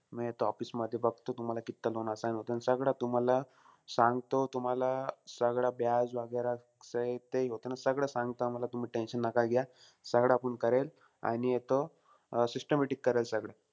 मी आता office मध्ये बघतो, तुम्हाला कित्त loan assign होतं. आणि सगळं तुम्हाला सांगतो. तुम्हाला सगळं वगैरा सहित, ते होतं न, सगळं सांगतो. आम्हाला, तुम्ही tension नका घ्या. सगळं आपण करेल आणि येतो systematic करेल सगळं.